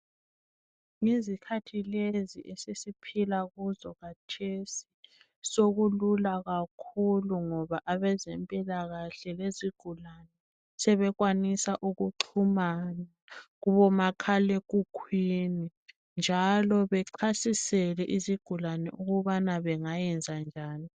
Ngezikhathi lezi esesiphila kuzo khathesi sokulula kakhulu ngoba abezempilakahle lezigulane sebesenelisa ukuxhumana kubomakhalekhukhwini njalo bechasisele izigulane ukuba zingayenzenjani.